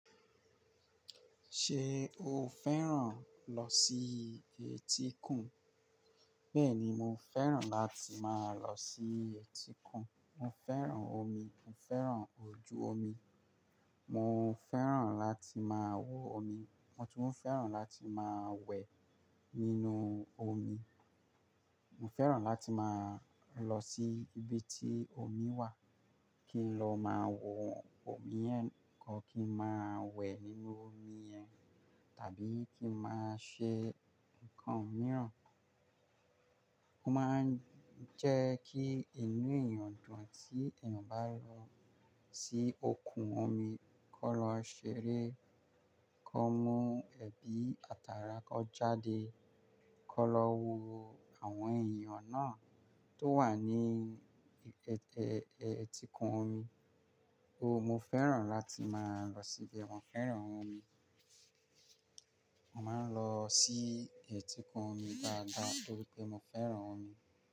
Ṣé o fẹ́ràn lọ sí etíkun? Bẹ́ẹ̀ni, mo fẹ́ràn láti máa lọ sí etíkun. Mo fẹ́ràn omi, mo fẹ́ràn ojú omi, mo fẹ́ràn láti máa wọ omi, mo tún fẹ́ràn láti máa wẹ̀ nínú omi. Mo fẹ́ràn láti máa lọ sí ibi tí omi wà kí n lọ máa wo omi yẹn kan, kí n máa wẹ̀ nínú omi yẹn, tàbí kí n máa ṣe nǹkan mìíràn. Ó máa ń jẹ́ kí inú èèyàn dùn tí èèyàn bá lọ sí òkun omi, kó lọ ṣeré, kó mú ẹbí, ati tàrà kọ jáde, kó lọ wo àwọn èèyàn náà tó wà ní ẹẹ́, ẹẹ́, ẹẹ́, etíkun omi. Ó, mo fẹ́ràn láti máa lọ síbẹ̀, mo fẹ́ràn omi. Mo máa ń lọ sí etíkun omi dáadáa torí pé mo fẹ́ràn omi.